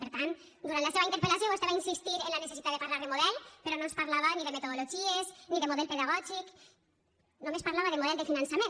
per tant durant la seva interpel·lació vostè va insistir en la necessitat de parlar de model però no ens parlava ni de metodologies ni de model pedagògic només parlava de model de finançament